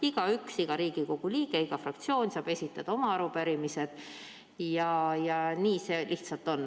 Igaüks, iga Riigikogu liige, iga fraktsioon saab esitada oma arupärimised ja nii see lihtsalt on.